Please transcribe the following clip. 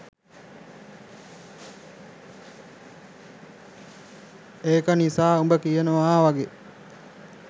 ඒක නිසා උඹ කියනවා වගේ